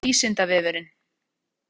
Kristinn Ingvarsson og Vísindavefurinn.